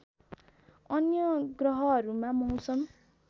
अन्य ग्रहहरूमा मौसम